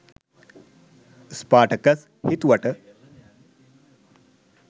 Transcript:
Spartacus හිතුවට